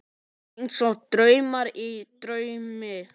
Einsog draumur í draumi.